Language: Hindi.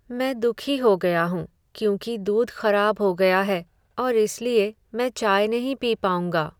मैं दुखी हो गया हूं क्योंकि दूध खराब हो गया है और इसलिए मैं चाय नहीं पी पाउंगा।